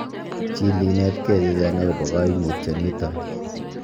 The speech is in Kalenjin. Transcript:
Chil you inetekei chechang' agobo koimutioniton.